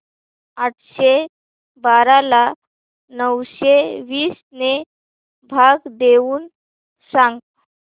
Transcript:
आठशे बारा ला नऊशे वीस ने भाग देऊन सांग